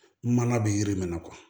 Mana bɛ yiri min na